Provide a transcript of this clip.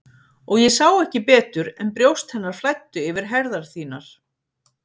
Og ég sá ekki betur en brjóst hennar flæddu yfir herðar þínar.